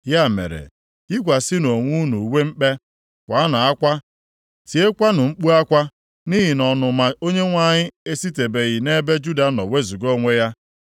Ya mere, yikwasịnụ onwe unu uwe mkpe; kwaanụ akwa, tiekwanụ mkpu akwa, nʼihi na ọnụma Onyenwe anyị esitebeghị nʼebe Juda nọ wezuga onwe ya.